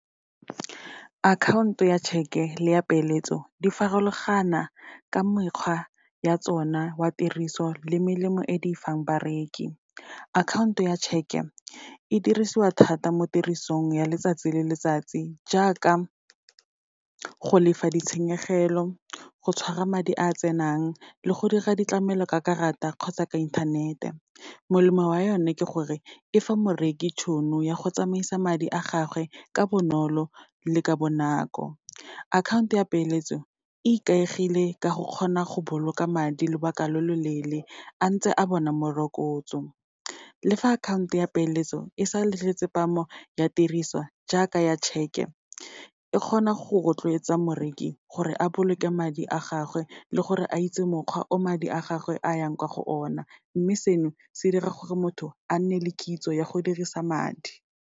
Akhaonto ya cheque-e le ya peeletso, di farologana ka mekgwa ya tsona wa tiriso le melemo e di fang bareki. Akhaonto ya cheque-e, e dirisiwa thata mo tirisong ya letsatsi le letsatsi, jaaka go lefa ditshenyegelo, go tshwara madi a tsenang le go dira ditlamelo ka karata kgotsa ka inthanete. Molemo wa yone ke gore, e fa moreki tšhono ya go tsamaisa madi a gagwe ka bonolo le ka bonako. Akhaonto ya peeletso, e ikaegile ka go kgona go boloka madi lobaka lo loleele, antse a bona morokotso, le fa akhaonto ya peeletso e sa letle tsepamo ya tiriso jaaka ya cheque-e, e kgona go rotloetsa moreki gore a boloke madi a gagwe le gore a itse mokgwa o madi a gagwe a yang kwa go ona. Mme seno, se dira gore motho a nne le kitso ya go dirisa madi.